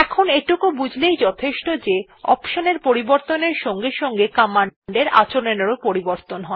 এখন এইটুকু বুঝলেই যথেষ্ট যে অপশন এর পরিবর্তনের সঙ্গে সঙ্গে কমান্ডের আচরণ এরও পরিবর্তন হয়